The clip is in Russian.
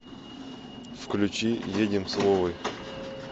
включи едем с вовой